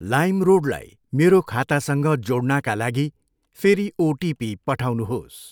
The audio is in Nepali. लाइमरोडलाई मेरो खातासँग जोड्नाका लागि फेरि ओटिपी पठाउनुहोस्।